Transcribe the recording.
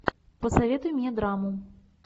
посоветуй мне драму